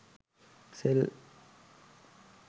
sell